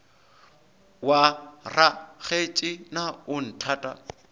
wa rakgetse na o nthata